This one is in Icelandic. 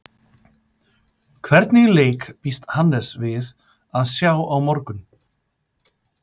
Hvernig leik býst Hannes við að sjá á morgun?